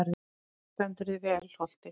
Þú stendur þig vel, Holti!